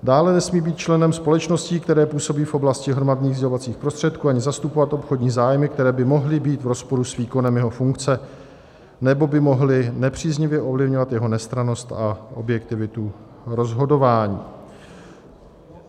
Dále nesmí být členem společností, které působí v oblasti hromadných sdělovacích prostředků, ani zastupovat obchodní zájmy, které by mohly být v rozporu s výkonem jeho funkce nebo by mohly nepříznivě ovlivňovat jeho nestrannost a objektivitu rozhodování.